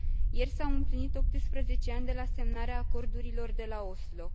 Ieri s au împlinit 18 ani de la semnarea acordurilor de la Oslo.